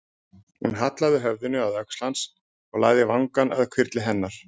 Hún hallaði höfðinu að öxl hans, hann lagði vangann að hvirfli hennar.